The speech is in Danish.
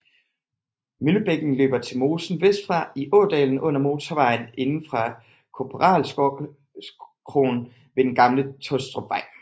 Møllebækken løber til mosen vestfra i ådalen under motorvejen inde fra Korporalskroen ved den gamle Tåstrupvej